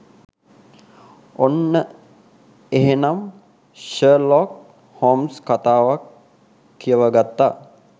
ඔන්න එහෙනං Sherlock Holmes කතාවත් කියවගත්තා